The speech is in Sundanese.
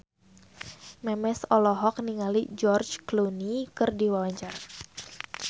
Memes olohok ningali George Clooney keur diwawancara